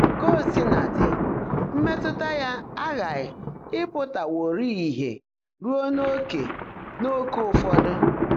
Kà ó sí ná ḍị́, mmétụ́tá yá ághághị́ ị́pụ́táwọ́rị́ị́ ìhè rúó n’óké n’óké ụ́fọ́dụ́.